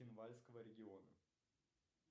цхинвальского региона